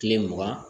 Kile mugan